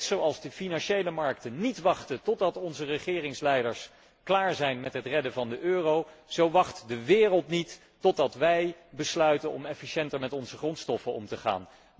Net zoals de financiële markten niet wachten totdat onze regeringsleiders klaar zijn met het redden van de euro, zo wacht de wereld niet totdat wij besluiten om efficiënter met onze grondstoffen om te gaan.